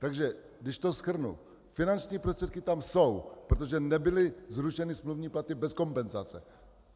Takže když to shrnu, finanční prostředky tam jsou, protože nebyly zrušeny smluvní platy bez kompenzace.